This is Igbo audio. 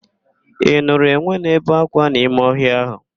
Ị nụrụ enwe na-ebe ákwá n'ime ọhịa ahụ?